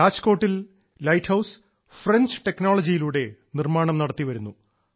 രാജ്കോട്ടിൽ lighthouse French ടെക്നോളജിയിലൂടെ നിർമ്മാണം നടത്തി വരുന്നു